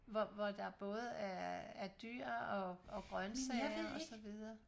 hvor hvor der både er dyr og grøntsager og så videre